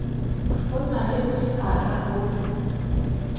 ho na le bosara bo